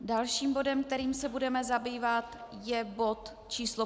Dalším bodem, kterým se budeme zabývat, je bod číslo